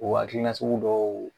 O hakilina sugu dɔw